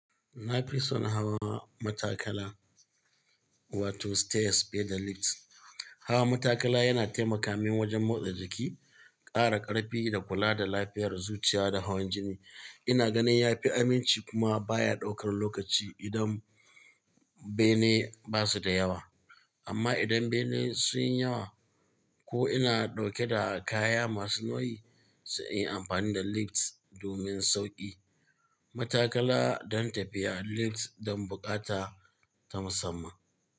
Na fi son hawa matakala wato stairs fiye da lifts. Hawa matakala yana taimaka min wajen motsa jiki, ƙara ƙarfi da kula da lafiyar zuciya da hawan jini. Ina ganin ya fi aminci kuma baya ɗaukar lokaci idan bene ba su da yawa. Amma idan bene sun yi yawa ko ina dauke da kaya masu nauyi, sai in yi amfani da lifts domin sauƙi. Matakala don tafiya, lifts don buƙata ta musamman.